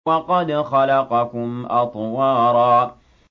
وَقَدْ خَلَقَكُمْ أَطْوَارًا